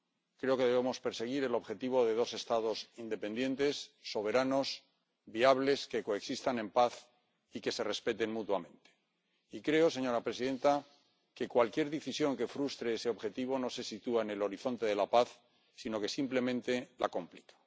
Creo que debemos perseguir el objetivo de dos Estados independientes, soberanos, viables que coexistan en paz y que se respeten mutuamente, y creo, señora presidenta, que cualquier decisión que frustre ese objetivo no se sitúa en el horizonte de la paz, sino que simplemente la complica.